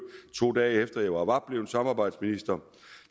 to dage efter at jeg var blevet samarbejdsminister